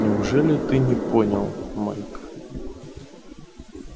неужели ты не понял майк